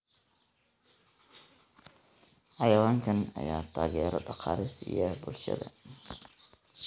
Xayawaankan ayaa taageero dhaqaale siiya bulshada.